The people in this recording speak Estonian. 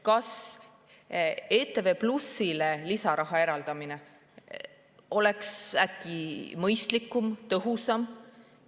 Kas kanalile ETV+ lisaraha eraldamine ei oleks äkki mõistlikum, tõhusam?